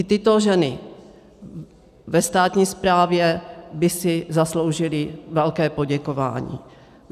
I tyto ženy ve státní správě by si zasloužily velké poděkování.